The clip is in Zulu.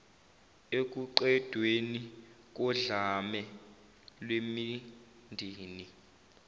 ekuqedweni kodlame lwemindeni